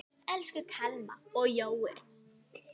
Elsku Thelma og Jói.